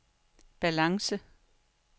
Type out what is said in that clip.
balance